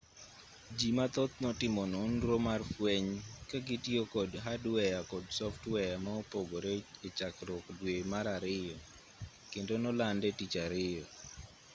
jii mathoth notimo nonro mar fweny kagitiyo kod hadweya kod softweya maopogore echakruok dwe mar ariyo kendo nolande tich ariyo